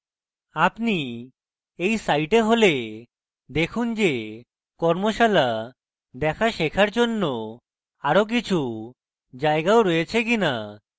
আপনি এই site হলে দেখুন যে কর্মশালা দেখা শেখার জন্য আরো কিছু জায়গাও রয়েছে কিনা